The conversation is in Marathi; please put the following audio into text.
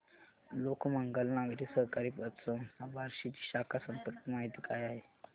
लोकमंगल नागरी सहकारी पतसंस्था बार्शी ची शाखा संपर्क माहिती काय आहे